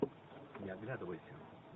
не оглядывайся